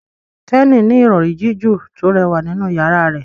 Kenny ní Ìrọ̀rí jiju to rẹwà nínú yàrá rẹ